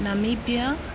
namibia